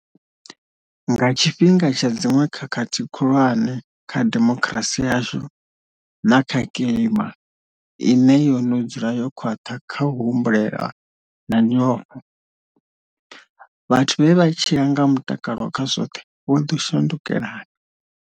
Nga tshifhinga tsha dziṅwe khakhathi khulwane kha demokirasi yashu, na kha kilima ine yo no dzula yo khwaṱha kha u humbulelwa na nyofho, vhathu vhe vha tshila nga mulalo kha zwoṱhe vho ḓo shandukelana.